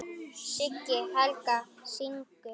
Siggi Helga: Syngur?